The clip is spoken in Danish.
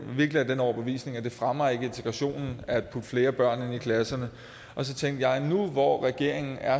virkelig af den overbevisning at det ikke fremmer integrationen at putte flere børn ind i klasserne og så tænkte jeg nu hvor regeringen er